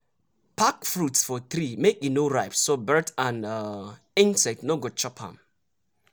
pack fruits for tree make e no ripe so bird and insect no go chop am.